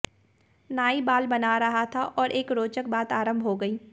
नाई बाल बना रहा था और एक रोचक बात आरंभ हो गयी